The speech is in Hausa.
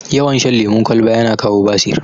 Yawan shan lemun kwalba yana kawo basir